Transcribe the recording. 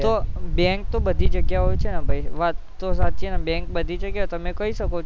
તો bank બધી જગાઓ છે ભાઈ વાત તો સાચી હ ન તો bank બધી જગાએ એ કહી શકો છો